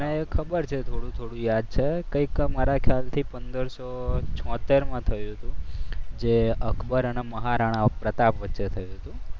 મને ખબર છે થોડું થોડું યાદ છે કઈ સાલમાં મારા ખ્યાલથી પંદરસો છોતેરમાં થયું હતું. જે અકબર અને મહારાણા પ્રતાપ વચ્ચે થયું હતું.